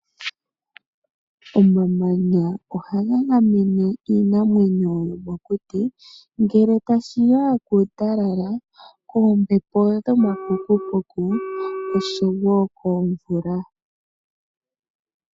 Omamanya ohaga gamene iinamwenyo yomokuti ngele tashi ya kuutalala, oombepo dhomapukupuku oshowo komvula.